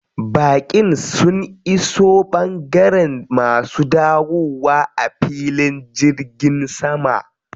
Baƙin sun iso ɓangaren masu dawowa a filin jirgin sama.